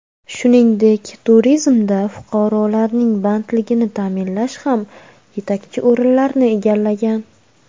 Shuningdek, turizmda fuqarolarning bandligini ta’minlash ham yetakchi o‘rinlarni egallagan.